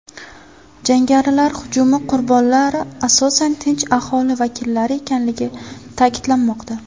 Jangarilar hujumi qurbonlari asosan tinch aholi vakillari ekanligi ta’kidlanmoqda.